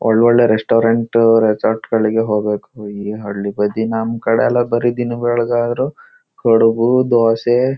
ಒಳ್ ಒಳ್ಳೆ restaurant resort ಗಳಿಗೆ ಹೋಗ್ಬೇಕು ಓ ಈ ಹಳ್ಳಿ ಬದಿ ನಮ್ ಕಡೆಯೆಲ್ಲ ಬರಿ ದಿನ ಬೆಳಗಾದರು ಕಡಬು ದೋಸೆ--